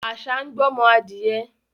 Àṣà ń gbọ́mọ adìẹ